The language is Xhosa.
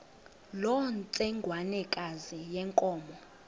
loo ntsengwanekazi yenkomo